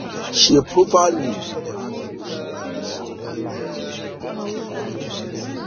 ṣe profaili ọra ti o ṣe ati da lori awọn abajade iṣakoso